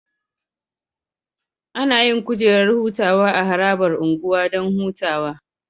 Anayin kujerar hutawa a harabar unguwa Dan hutawa